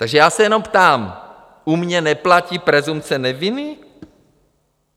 Takže já se jenom ptám: U mě neplatí presumpce neviny?